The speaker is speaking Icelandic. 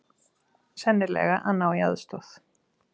Sennilega að ná í aðstoð.